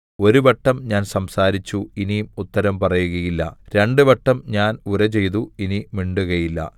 ഒരുവട്ടം ഞാൻ സംസാരിച്ചു ഇനി ഉത്തരം പറയുകയില്ല രണ്ടുവട്ടം ഞാൻ ഉരചെയ്തു ഇനി മിണ്ടുകയില്ല